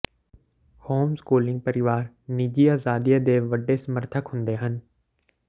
home schooling ਪਰਿਵਾਰ ਨਿੱਜੀ ਆਜ਼ਾਦੀਆਂ ਦੇ ਵੱਡੇ ਸਮਰਥਕ ਹੁੰਦੇ ਹਨ